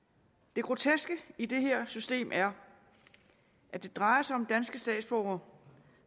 det groteske i det her system er at det drejer sig om danske statsborgere